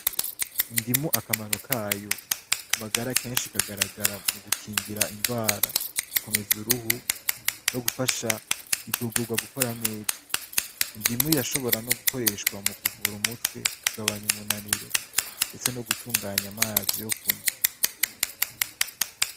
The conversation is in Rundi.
Indimu akamaro kayo magara kenshi kagaragara mu gukingira ingwara, gukomeza uruhu, no gufasha igubwurwa gukora neza. Indimu irashobora no gukoreshwa mu kuvura umutwe, kugabanya umunaniro, ndetse no gutunganya amazi yo kunwa.